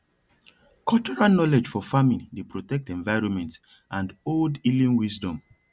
cultural knowledge for farming dey protect environment and old healing wisdom